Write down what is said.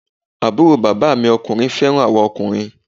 Àbúrò bàbá mi ọkùnrin fẹ́ràn àwa ọkùnrin